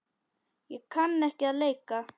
Ég kann ekki að leika.